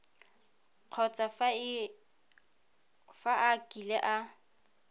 kgotsa fa a kile a